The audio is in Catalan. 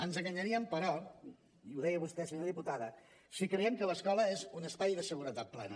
ens enganyaríem però i ho deia vostè senyora diputada si creiem que l’escola és un espai de seguretat plena